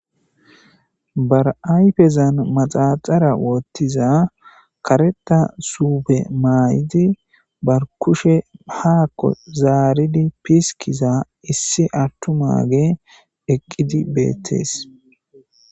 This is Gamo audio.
Barayfezan maxaxara woottiza kareta suupe maay7idi barkushe haakko zaaridi piskiza issi attu maage eqqidi beettees